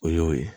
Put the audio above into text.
O y'o ye